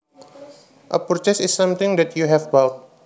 A purchase is something that you have bought